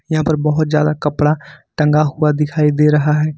यहां पर बहोत ज्यादा कपड़ा टंगा हुआ दिखाई दे रहा है।